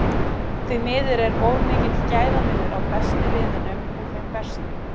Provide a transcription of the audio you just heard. Því miður er of mikill gæðamunur á bestu liðunum og þeim verstu